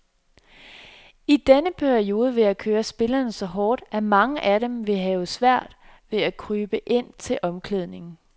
I den periode vil jeg køre spillerne så hårdt, at mange af dem vil have svært ved at krybe ind til omklædning.